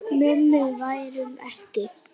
Mummi værum ekki.